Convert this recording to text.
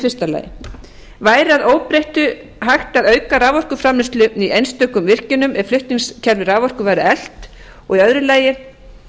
fyrstu væri að öðru óbreyttu hægt að auka raforkuframleiðslu í einstökum virkjunum ef flutningskerfi raforku